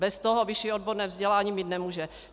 Bez toho vyšší odborné vzdělání mít nemůže.